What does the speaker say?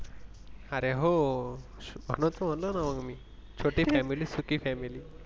अरे हो म्हणूनच महनला मि छोटी Family मी सुकी Family